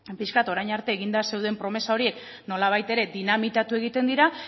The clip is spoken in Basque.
pixkat orain arte eginda zeuden promesa horiek nolabait ere dinamitatu egiten dira